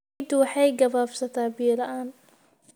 Ciiddu waxay gabaabsataa biyo la'aan.